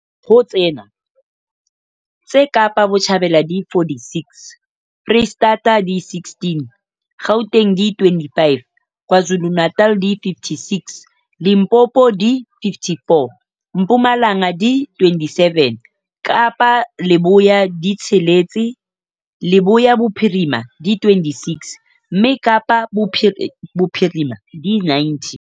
Ho tsena, tse Kapa Botjhabela di 46, Freistata di 16, Gauteng di 25, KwaZulu-Natal di 56, Limpopo di 54, Mpumalanga di 27, Kapa Leboya di tsheletse, Leboya Bophirima di 26, mme Kapa Bophirima di 90.